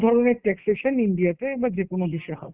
দু'ধরণের taxation India তে বা যে কোনো দেশে হয়।